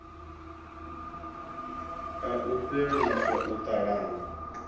a u fheliswa u talana